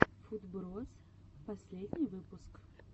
футброз последний выпуск